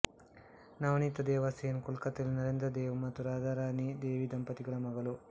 ನವನೀತ ದೇವ ಸೇನ್ ಕೊಲ್ಕತ್ತದಲ್ಲಿ ನರೇಂದ್ರ ದೇವ್ ಮತ್ತು ರಾಧಾರಾಣೀ ದೇವಿ ದಂಪತಿಗಳ ಮಗಳು